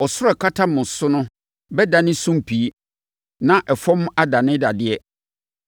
Ɔsoro a ɛkata mo tiri so no bɛdane sumpii na ɛfam adane dadeɛ.